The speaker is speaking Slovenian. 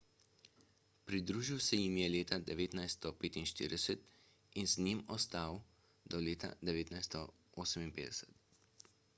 pridružil se jim je leta 1945 in z njimi ostal do leta 1958